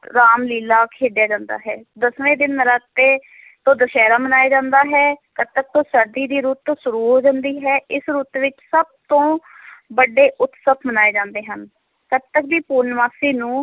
ਰਾਮ ਲੀਲ੍ਹਾ ਖੇਡਿਆ ਜਾਂਦਾ ਹੈ, ਦਸਵੇਂ ਦਿਨ ਨੌਰਾਤੇ ਤੋਂ ਦੁਸਹਿਰਾ ਮਨਾਇਆ ਜਾਂਦਾ ਹੈ, ਕੱਤਕ ਤੋਂ ਸਰਦੀ ਦੀ ਰੁੱਤ ਸ਼ੁਰੂ ਹੁੰਦੀ ਹੈ, ਇਸ ਰੁੱਤ ਵਿੱਚ ਸਭ ਤੋਂ ਵੱਡੇ ਉਸਤਵ ਮਨਾਏ ਜਾਂਦੇ ਹਨ, ਕੱਤਕ ਦੀ ਪੂਰਨਮਾਸ਼ੀ ਨੂੰ,